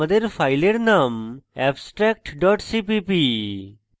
আমাদের file name abstract dot cpp